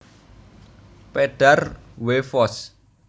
Pedar W Foss